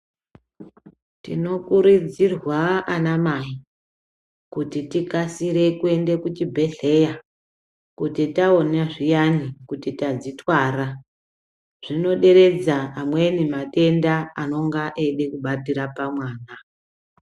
Tinokurudzirwa anamai kuti tikasire kuenda kuchibhedhlera kuti taona zviyani kuti tadzitwara zvinoderedza amweni matenda anonga eida kubatira pamwana.